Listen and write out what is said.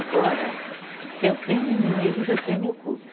Agora, se eu tenho inimigos, eu tenho o culto.